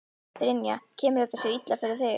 Brynja: Kemur þetta sér illa fyrir þig?